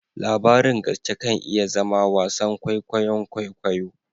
Labarin gaske kan iya zama wasan kwaikwayon kwaikwayo